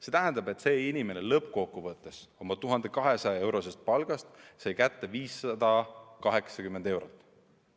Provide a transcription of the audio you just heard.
See tähendab, et see inimene lõppkokkuvõttes oma 1200-eurosest palgast sai kätte 580 eurot.